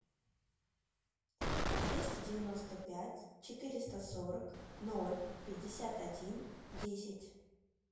двести девяносто пять четыреста сорок ноль пятьдесят один десять